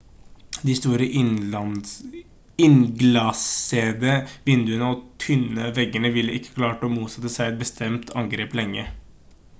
de store innglassede vinduene og tynne veggene ville ikke klart å motsette seg et bestemt angrep lenge